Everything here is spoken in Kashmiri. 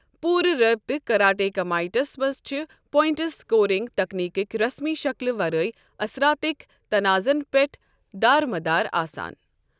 پوٗرٕ رابطہٕ کراٹے کمایٹس منٛز چھ پواینٹٕس سکورنگ تکنیکٕکۍ رسمی شکلہِ ورٲے اثراتٕک نتازَن پٮ۪ٹھ دارمدار آسان۔